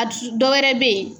A dusu, dɔw wɛrɛ bɛ yen.